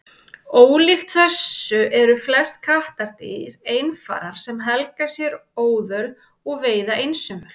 Ólíkt þessu eru flest kattardýr einfarar sem helga sér óðöl og veiða einsömul.